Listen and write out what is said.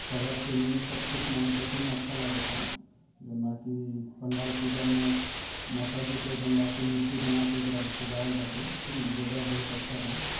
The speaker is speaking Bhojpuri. कलर चेंजिंग सब कुछ माने देखते मे अच्छा लगता| जन बाकी पंडाल पूजा मे माताजी के गंगा के मूर्ति बनाके एक सजावाल बाटे ठीक न जगह बहुत अच्छा बा।